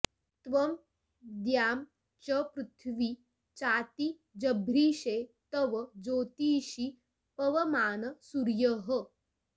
त्वं द्यां च॑ पृथि॒वीं चाति॑ जभ्रिषे॒ तव॒ ज्योतीं॑षि पवमान॒ सूर्यः॑